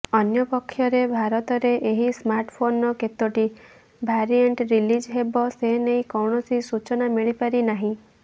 ଅନ୍ୟପକ୍ଷରେ ଭାରତରେ ଏହି ସ୍ମାର୍ଟଫୋନର କେତୋଟି ଭାରିଏଣ୍ଟ ରିଲିଜ ହେବ ସେନେଇ କୌଣସି ସୂଜନା ମିଳିପାରିନାହିଁ